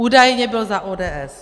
Údajně byl za ODS.